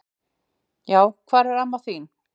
Já hvar er amma þin?